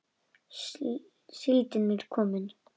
Síldin er komin!